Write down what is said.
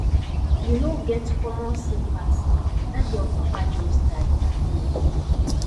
you no get common sympathy dat girl papa just die um